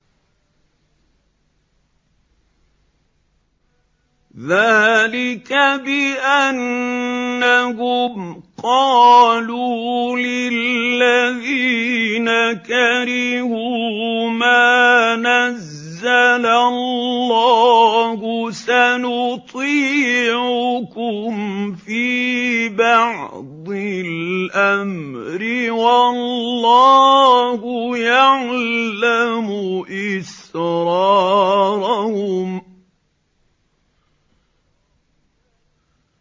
ذَٰلِكَ بِأَنَّهُمْ قَالُوا لِلَّذِينَ كَرِهُوا مَا نَزَّلَ اللَّهُ سَنُطِيعُكُمْ فِي بَعْضِ الْأَمْرِ ۖ وَاللَّهُ يَعْلَمُ إِسْرَارَهُمْ